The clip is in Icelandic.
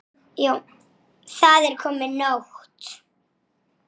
Kútur sundið léttir.